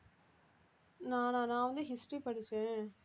நானா நான் வந்து history படிச்சேன்